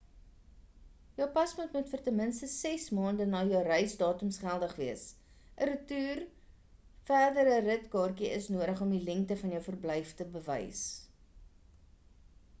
jou paspoort moet vir ten minste 6 maande na jou reisdatums geldig wees. ‘n retoer/verdere rit kaartjie is nodig om die lengte van jou verblyf te bewys